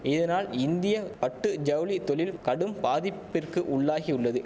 இதனால் இந்திய பட்டு ஜவுளி தொழில் கடும் பாதிப்பிற்கு உள்ளாகியுள்ளது